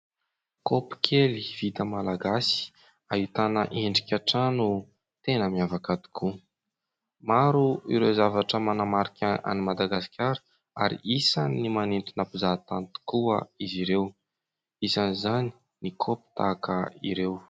Kaopy kely vita malagasy, ahitana endrika trano tena miavaka tokoa. Maro ireo zavatra manamarika an'ny Madagasikara ary isan'ny manintona mpizahantany tokoa izy ireo, isan'izany ny kaopy tahaka ireo.